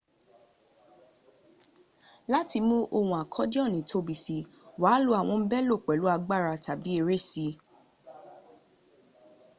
láti mú ohun akodioni tóbi si wàá lò àwọn belò pẹ̀lú agbára tàbí ere sí i